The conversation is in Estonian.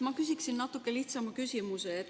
Ma küsin natuke lihtsama küsimuse.